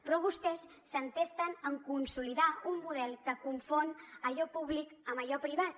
però vostès s’entesten en consolidar un model que confon allò públic amb allò privat